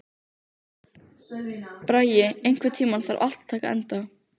Bragi, einhvern tímann þarf allt að taka enda.